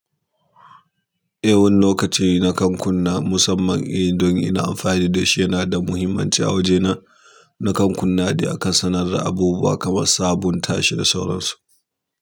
E, wani lokaci na kan kunna musamman yanda ni ina amfani da shi yana da muhimmanci a waje na nakan kunnan dai akan suna da abubuwa kaman sabunta shi da sauran su.